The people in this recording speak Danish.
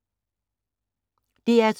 DR2